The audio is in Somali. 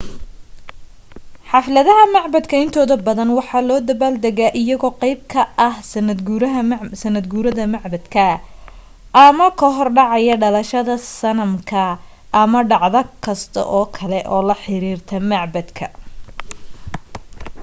xafladaha macbaddka intooda badan waxa loo dabbaal degaa iyagoo qayb ka ah sannadguurada macbadka ama ka hor dhacaya dhalashada sanamka ama dhacdo kasta oo kale ee la xiriirta macbadka